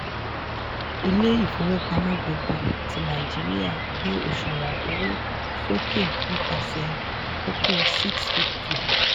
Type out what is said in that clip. ilé ifowópamọ́ gbogbogbò ti nàìjíríà gbé òṣùwọ̀n owó sókè nípasẹ̀ kókó 650.